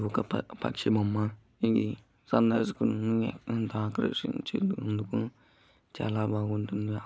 ప పక్షి బొమ్మ. ఇది ఆకర్శించినందుకు చాలా బాగుంటుంది.